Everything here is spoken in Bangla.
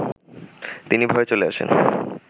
তিনি ভয়ে চলে আসেন